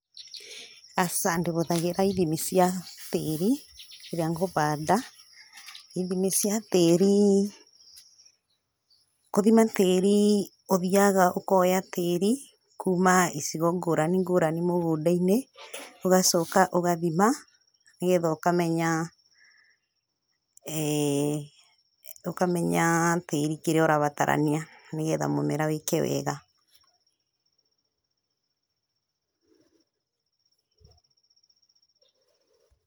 Aca ndĩbũthagĩra ithimi cia tĩĩri rĩrĩa ngũbaanda, ithimi cia tĩĩri kũthima tĩĩri ũthiaga ũkoya tĩĩri kuuma icigo ngũrani ngũrani mũgũnda-inĩ, ũgacooka ũgathima, nĩgetha ũkamenya eeh tĩĩri kĩrĩa ũrabatarania, nĩgetha mũmera wĩĩke wega.